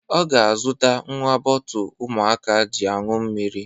Ọ ga-azụtara nnwa bọọtụ ụmụaka ji añu mmiri.